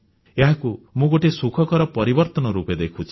ଏହାକୁ ମୁଁ ଗୋଟିଏ ସୁଖକର ପରିବର୍ତ୍ତନ ରୂପେ ଦେଖୁଛି